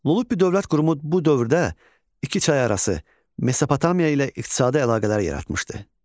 Lullubi dövlət qurumu bu dövrdə iki çay arası Mezopotamiya ilə iqtisadi əlaqələr yaratmışdı.